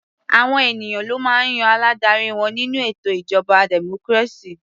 Àwọn ènìyàn ló máa ń yan aládarí wọn nínú ètò ìjọba democracy.